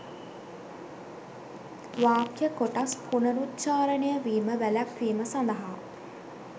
වාක්‍ය කොටස් පුනරුච්ඡාරණය වීම වැළැක්වීම සඳහා